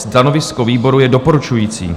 Stanovisko výboru je doporučující.